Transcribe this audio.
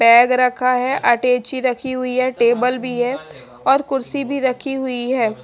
Bag रखा है अटैची रखी हुई है टेबल भी है और कुरसी भी रखी हुई है।